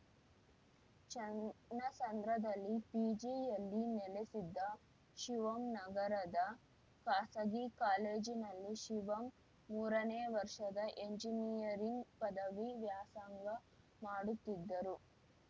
ಚನ್ನಸಂದ್ರದಲ್ಲಿ ಪಿಜಿಯಲ್ಲಿ ನೆಲೆಸಿದ್ದ ಶಿವಮ್‌ ನಗರದ ಖಾಸಗಿ ಕಾಲೇಜಿನಲ್ಲಿ ಶಿವಮ್‌ ಮೂರನೇ ವರ್ಷದ ಎಂಜಿನಿಯರಿಂಗ್‌ ಪದವಿ ವ್ಯಾಸಂಗ ಮಾಡುತ್ತಿದ್ದರು